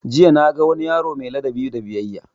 Jiya na ga wani yaro mai ladabi da biyayya